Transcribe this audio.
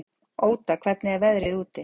Óda, hvernig er veðrið úti?